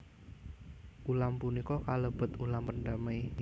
Ulam punika kalebet ulam pendamai